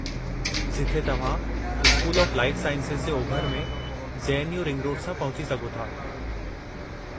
जिथे तव्हां school of life sciences जे ओभर में, J. N. U. Ring road सां पहुची सघो था।